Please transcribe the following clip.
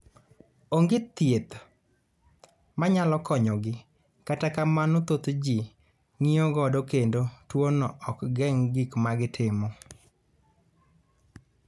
Onge thieth ma nyalo konyogi, kata kamano, thoth ji ng�iyo godo kendo tuwono ok geng� gik ma gitimo.